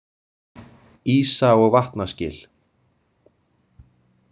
Ísa- og vatnaskil.